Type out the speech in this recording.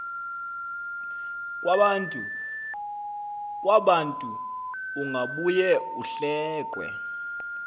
kwabantu ungabuye uhlekwe